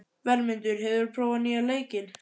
Vermundur, hefur þú prófað nýja leikinn?